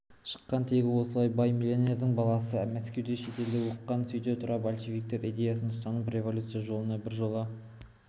шыққан тегі солай бай-миллионердің баласы мәскеуде шетелде оқыған сөйте тұра большевиктер идеясын ұстанып революция жолына біржола